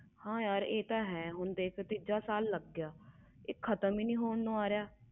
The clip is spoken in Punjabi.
ਹੈ ਯਾਰ ਇਹ ਤੇ ਹੈ ਤੀਸਰਾ ਸਾਲ ਲਗ ਗਿਆ ਫਿਰ ਦੁਬਾਰਾ ਆ ਗਿਆ